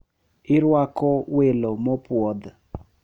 Irwako welo mopuodh.